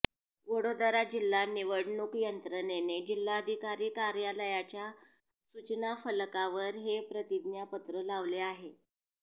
वडोदरा जिल्हा निवडणूक यंत्रणेने जिल्हाधिकारी कार्यालयाच्या सूचनाफलकावर हे प्रतिज्ञापत्र लावले आहे